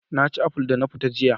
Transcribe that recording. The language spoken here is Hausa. Na ci aful da na fita jiya